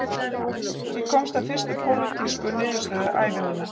Ég komst að fyrstu pólitísku niðurstöðu ævi minnar